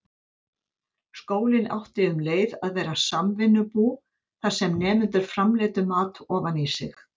Skólinn átti um leið að vera samvinnubú, þar sem nemendur framleiddu mat ofan í sig.